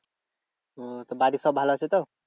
ওহ তো বাড়ির সব ভালো আছে তো?